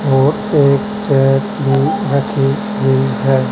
और एक चेयर भी रखी हुई है।